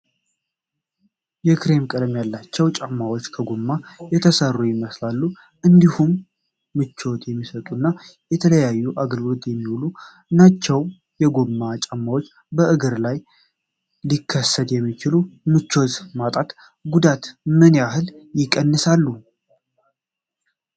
የክሬም ቀለም ያላቸው ጫማዎች ከጎማ የተሠሩ ይመስላሉ፣ እንዲሁም ምቾት የሚሰጡና ለተለያዩ አገልግሎት የሚውሉ ናቸው። የጎማ ጫማዎች በእግር ላይ ሊከሰት የሚችለውን ምቾት ማጣትና ጉዳት ምን ያህል ይቀንሳሉ?